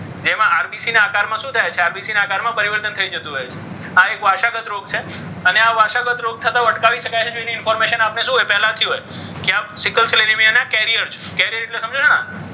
જેમાં RBC ના આકારમાં શું થાય છે? તો કે RBC ના આકારમાં પરિવર્તન થઈ જતું હોય છે. આ એક વાર સ્વાગત રોગ છે આ એક વારસાગત રોગ છે. અને આ વારસાગત રોગ થતો અટકાવી શકાય છે. એની information શું હોય? પહેલાથી હોય કે આપણે સિકલસેલ એનિમિયા ના કેરિયર છીએ. કેરિયર એટલે સમજો છો ને આ,